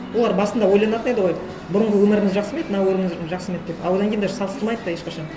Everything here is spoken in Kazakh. олар басында ойланатын еді ғой бұрынғы өміріміз жақсы ма еді мына өміріміз жақсы ма еді деп а одан кейін даже салыстырмайды да ешқашан